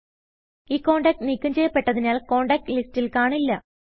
ഈ കോണ്ടാക്റ്റ് നീക്കം ചെയ്യപ്പെട്ടതിനാൽ കോണ്ടാക്റ്റ് ലിസ്റ്റിൽ കാണില്ല